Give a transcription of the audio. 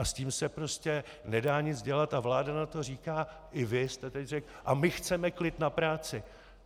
A s tím se prostě nedá nic dělat a vláda na to říká, i vy jste teď řekl - a my chceme klid na práci.